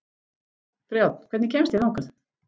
Brjánn, hvernig kemst ég þangað?